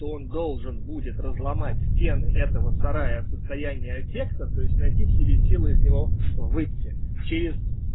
то он должен будет разломать стены этого сарая в состоянии аффекта то есть найти в себе силы из него выйти через